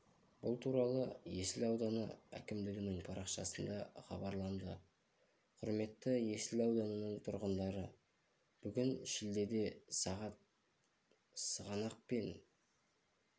бұл туралы есіл ауданы әкімдігінің парақшасында хабарланды құрметті есіл ауданының тұрғындары бүгін шілдеде сағат сығанақ пен